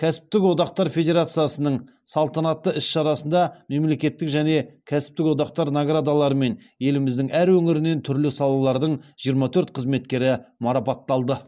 кәсіптік одақтар федерациясының салтанатты іс шарасында мемлекеттік және кәсіптік одақтар наградаларымен еліміздің әр өңірінен түрлі салалардың жиырма төрт қызметкері марапатталды